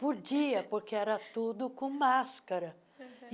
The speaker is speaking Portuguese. Podia, porque era tudo com máscara.